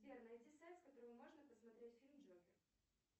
сбер найди сайт с которого можно посмотреть фильм джокер